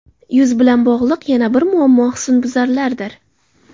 Yuz bilan bog‘liq yana bir muammo husnbuzarlardir.